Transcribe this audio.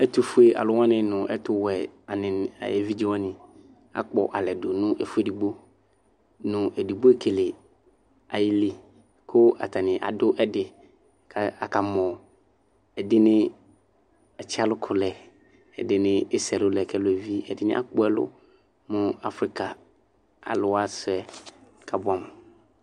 Ɛtʋfue alʋ wani nʋ ɛtʋwɛ evidze wani akpɔ alɛ dʋ nʋ ɛfʋ edigbo nʋ edigboekele ayili kʋ atani adʋ ɛdi kʋ akamɔ ɛdini atsi alʋkʋlɛ ɛdini ese ɛlʋlɛ kʋ ɛlʋ yɛ evi ɛdini akpɔ ɛlʋ mʋ afika alʋwa sʋɛ kʋ abʋɛamʋ